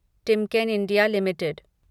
Timken India limited